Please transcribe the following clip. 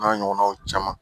N'a ɲɔgɔnnaw caman